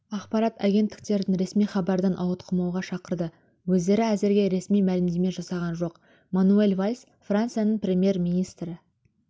ақпарат агенттіктерін ресми хабардан ауытқымауға шақырды өздері әзірге ресми мәлімдеме жасаған жоқ мануэль вальс францияның премьер-министрі